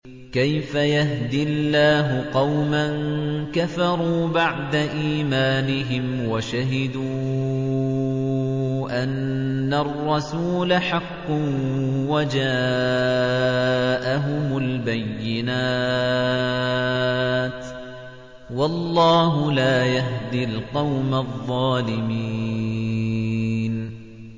كَيْفَ يَهْدِي اللَّهُ قَوْمًا كَفَرُوا بَعْدَ إِيمَانِهِمْ وَشَهِدُوا أَنَّ الرَّسُولَ حَقٌّ وَجَاءَهُمُ الْبَيِّنَاتُ ۚ وَاللَّهُ لَا يَهْدِي الْقَوْمَ الظَّالِمِينَ